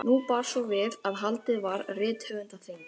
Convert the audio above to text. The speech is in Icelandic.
Nú bar svo við að haldið var rithöfundaþing.